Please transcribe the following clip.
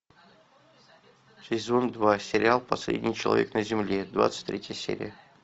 сезон два сериал последний человек на земле двадцать третья серия